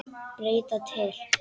Breyta til.